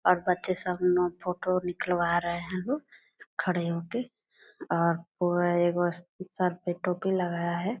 और बच्चे सब अपना फोटो निकलवा रहें हैं खड़े होके और पूरा एगो स सर पे टोपी लगाया है।